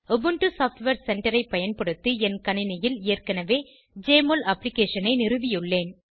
Ubuntu software சென்டரை பயன்படுத்தி என் கணினியில் ஏற்கனவே ஜெஎம்ஒஎல் அப்ளிகேஷனை நிறுவியுள்ளேன்